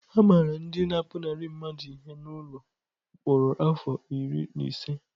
A mara ndị na-apụnara mmadụ ihe n’ụlọ mkpọrọ afọ iri na ise.